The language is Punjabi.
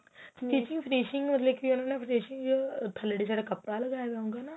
s teaching finishing ਥੱਲੇ ਵਾਲੀ side ਕੱਪੜਾ ਲਿਆਉਗਾ ਨਾ